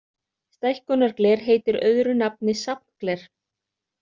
Stækkunargler heitir öðru nafni safngler.